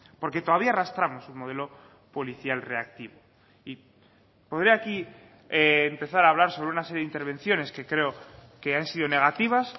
porque todavía arrastramos un modelo policial reactivo y podría aquí empezar a hablar sobre una serie de intervenciones que creo que han sido negativas